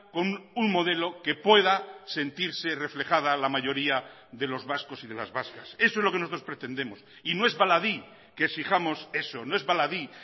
con un modelo que pueda sentirse reflejada la mayoría de los vascos y de las vascas eso es lo que nosotros pretendemos y no es baladí que exijamos eso no es baladí